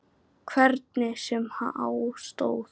Hvernig sem á stóð.